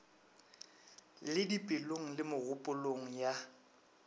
le dipelong le megopolong ya